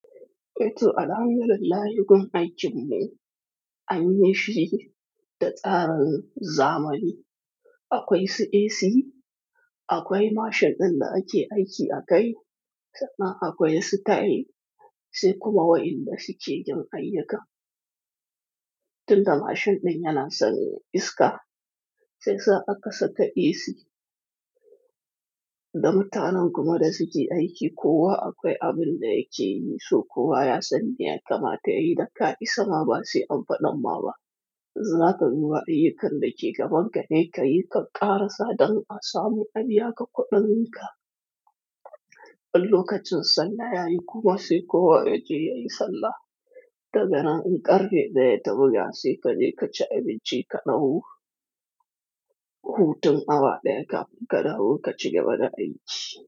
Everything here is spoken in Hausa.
Eh to, alhamdulillah, gun aikin mu ne, an yi shi da tsarin zamani. Akwai su AC, akwai mashin ɗin da ake aiki a kai, sannan akwai su tayil, sai kuma waɗanda suke jin ayyuka. Tunda mashin ɗin yana sanya iska, sai sa aka saka AC. Da mutanen kuma da suke aiki, kowa akwai abin da yake yi, so kowa ya san me ya kamata yayi da ka isama ba sai an faɗan ma ba. Zakon wa'in kan da ke gaban ka ne ka yi, ka ƙara sa don a samu aniyya ka kuɗin ka. In lokacin sallah yayi kuma sai kowa ya je yayi sallah. Da gani in ƙare da ya taɓo, ya siƙa, je ka ci abinci ka dauhu. Hutun awa ɗaya, kafin dahu ka ci gaba da aiki.